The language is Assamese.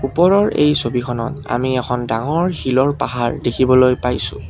ওপৰৰ এই ছবিখনত আমি এখন ডাঙৰ শিলৰ পাহাৰ দেখিবলৈ পাইছোঁ।